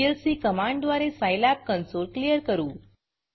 CLC command द्वारे Scilab consoleसाईलॅब console clear करू